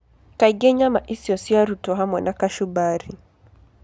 Kaingĩ nyama icio ciarutwo hamwe na kachumbari.